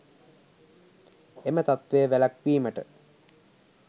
එම තත්ත්වය වැළැක්වීමට